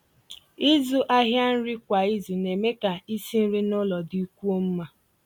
ị̀zụ́ àhịa nrí kwá ízù ná-èmé kà ísi nrí n'ụ́lọ̀ dị́kwúó mmá.